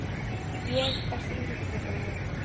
Ég Besti íþróttafréttamaðurinn?